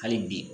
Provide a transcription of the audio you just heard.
Hali bi